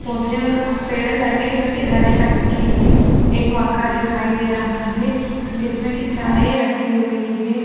पौधे और पेड़ लगे जो कि हरे रंग के हैं एक मग्गा दिखाई दे रहा है जिसमें कि चाय रखी हुई है।